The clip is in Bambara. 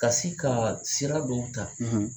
Ka se ka sira dɔw ta